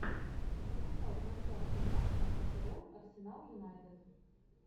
запускай трансляцию матча апл арсенал юнайтед